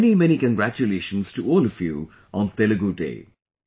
Many many congratulations to all of you on Telugu Day